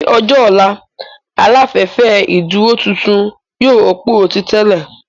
Ní ọjọ́ ọ̀la, Aláfẹ́fẹ́ ìdúró tuntun yóò rọ́pò ti tẹ́lẹ̀